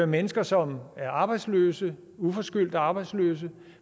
mennesker som er arbejdsløse uforskyldt arbejdsløse